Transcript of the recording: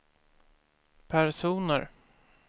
personer